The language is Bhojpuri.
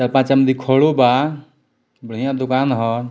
चार-पाँच खड़ो बा बढ़िया दुकान ह।